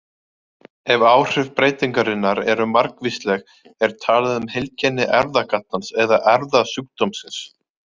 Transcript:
Ef áhrif breytingarinnar eru margvísleg er talað um heilkenni erfðagallans eða erfðasjúkdómsins.